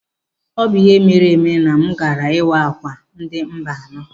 Ọ bụ ihe meere eme na m gaara ịwa akwa ndị Mba anọ.